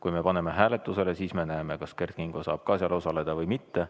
Kui me paneme hääletusele, siis me näeme, kas Kert Kingo saab seal osaleda või mitte.